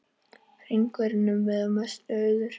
Hringvegurinn að mestu auður